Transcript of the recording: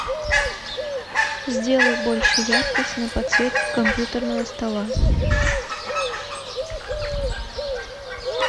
сделай больше яркость на подсветке компьютерного стола